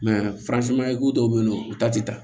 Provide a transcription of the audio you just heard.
dɔw bɛ yen nɔ u ta tɛ taa